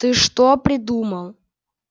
ты что-то придумал